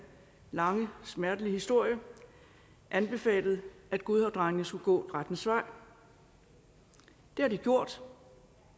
lange smertelige historie anbefalet at godhavnsdrengene skulle gå rettens vej det har de gjort og